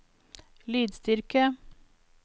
lydstyrke